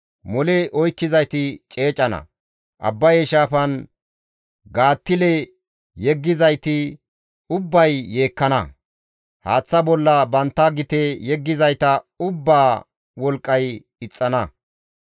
Mole oykkizayti ceecana; Abbaye shaafan gaattile yeggizayti ubbay yeekkana; haaththa bolla bantta gite yeggizayta ubbaa wolqqay ixxana.